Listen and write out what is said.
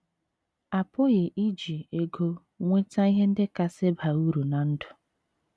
A pụghị iji ego nweta ihe ndị kasị baa uru ná ndụ